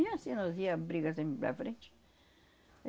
E assim, nós íamos brigar sempre para frente.